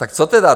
Tak co tedy?